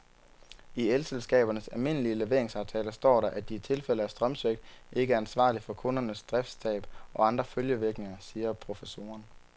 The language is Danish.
I elselskabernes almindelige leveringsaftaler står der, at de i tilfælde af strømsvigt ikke er ansvarlig for kundernes driftstab og andre følgevirkninger, siger professoren.